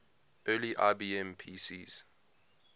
early ibm pcs